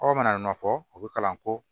Aw mana nɔfɛ o bɛ kalan ko